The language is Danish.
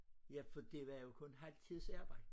Ja for det var jo kun halv tids arbejde